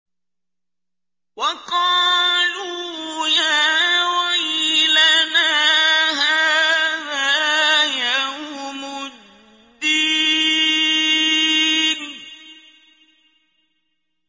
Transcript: وَقَالُوا يَا وَيْلَنَا هَٰذَا يَوْمُ الدِّينِ